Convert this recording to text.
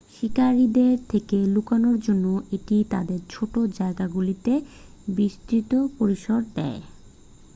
শিকারীদের থেকে লুকানোর জন্য এটি তাদের ছোট জায়গাগুলিতে বিস্তৃত পরিসর দেয়